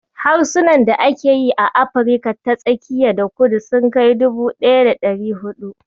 Harsunan da ake yi a Afrika ta tsakiya da kudu sun kai dubu ɗaya da ɗari huɗu.